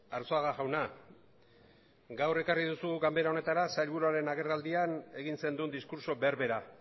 arzuaga jauna gaur ekarri duzu ganbara honetara sailburuaren agerraldian egin zenuen diskurtso berbera